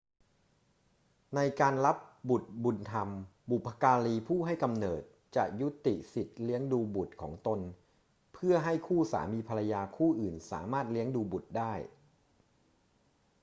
ในการรับบุตรบุญธรรม บุพการีผู้ให้กำเนิดจะยุติสิทธิเลี้ยงดูบุตรของตนเพื่อให้คู่สามีภรรยาคู่อื่นสามารถเลี้ยงดูบุตรได้